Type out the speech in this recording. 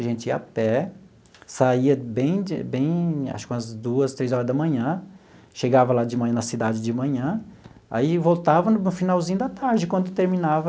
A gente ia a pé, saía bem de bem, acho que umas duas, três horas da manhã, chegava lá de manhã na cidade de manhã, aí voltava no finalzinho da tarde, quando terminava.